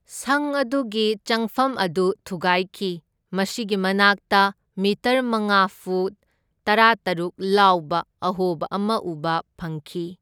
ꯁꯪ ꯑꯗꯨꯒꯤ ꯆꯪꯐꯝ ꯑꯗꯨ ꯊꯨꯒꯥꯢꯈꯤ, ꯃꯁꯤꯒꯤ ꯃꯅꯥꯛꯇ ꯃꯤꯇꯔ ꯃꯉꯥ ꯐꯨꯠ ꯇꯔꯥꯇꯔꯨꯛ ꯂꯥꯎꯕ ꯑꯍꯣꯕ ꯑꯃ ꯎꯕ ꯐꯪꯈꯤ꯫